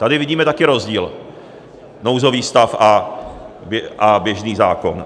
Tady vidíme také rozdíl, nouzový stav a běžný zákon.